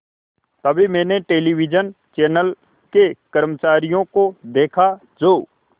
तभी मैंने television channel के कर्मचारियों को देखा जो